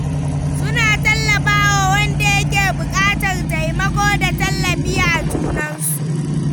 Suna tallafa wa wanda yake buƙatar taimako da tallafi a junansu.